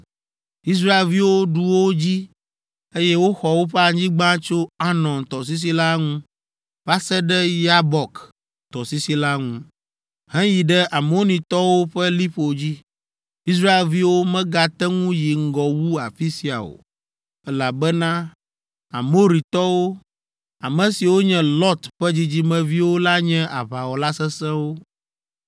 Israelviwo ɖu wo dzi, eye woxɔ woƒe anyigba tso Arnon tɔsisi la ŋu va se ɖe Yabok tɔsisi la ŋu, heyi ɖe Amonitɔwo ƒe liƒo dzi. Israelviwo megate ŋu yi ŋgɔ wu afi sia o, elabena Amoritɔwo, ame siwo nye Lot ƒe dzidzimeviwo la nye aʋawɔla sesẽwo.